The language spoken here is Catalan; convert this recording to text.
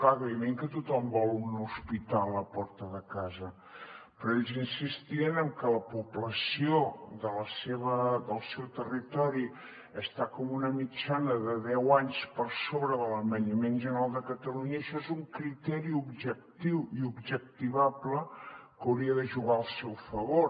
clar evidentment que tothom vol un hospital a la porta de casa però ells insistien en que la població del seu territori està com en una mitjana de deu anys per sobre de l’envelliment general de catalunya i això és un criteri objectiu i objectivable que hauria de jugar al seu favor